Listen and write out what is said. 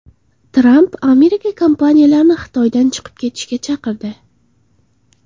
Tramp Amerika kompaniyalarini Xitoydan chiqib ketishga chaqirdi.